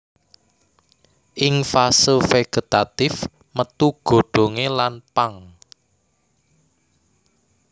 Ing fase vegetatif metu godhongé lan pang